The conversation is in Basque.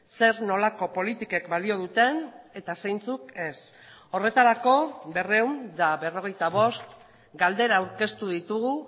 zer nolako politikek balio duten eta zeintzuk ez horretarako berrehun eta berrogeita bost galdera aurkeztu ditugu